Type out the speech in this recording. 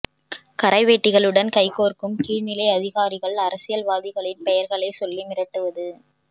கரைவேட்டிகளுடன் கைகோர்க்கும் கீழ் நிலை அதிகாரிகள் அரசியல்வாதிகளின் பெயர்களை சொல்லி மிரட்டுவது